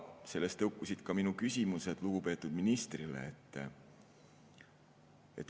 Sellest tõukusid ka minu küsimused lugupeetud ministrile.